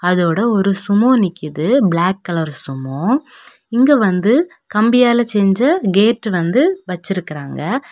அதோட ஒரு சுமோ நிக்குது பிளாக் கலர் சுமோ இங்க வந்து கம்பியால செஞ்ச கேட்டு வந்து வெச்சிருக்கிறாங்க.